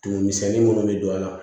Tumumisɛnnin minnu bɛ don a la